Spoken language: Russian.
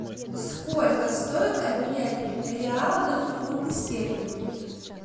сколько стоит обменять реалы на фунты стерлинги